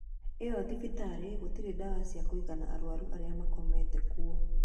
Ĩo thibitarĨ gũtirĩ dawa cia kũigna arwaru arĩa makomete kũo